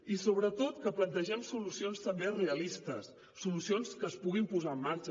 i sobretot que plantegem solucions també realistes solucions que es puguin posar en marxa